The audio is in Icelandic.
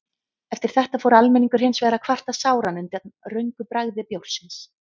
Eftir þetta fór almenningur hins vegar að kvarta sáran undan röngu bragði bjórsins.